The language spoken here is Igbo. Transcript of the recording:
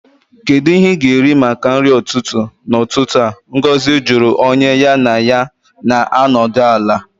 Kedu ihe ị na-eri maka nri ụtụtụ n'ụtụtụ a? Ngozi jụrụ onye ya na ya na-anọdụ ala